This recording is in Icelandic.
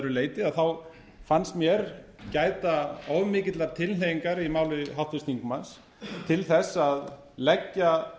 leyti fannst mér gæta of mikillar tilhneigingar í máli háttvirts þingmanns til þess að leggja